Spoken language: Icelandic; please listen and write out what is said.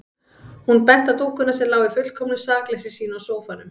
Hún benti á dúkkuna sem lá í fullkomnu sakleysi sínu á sófanum.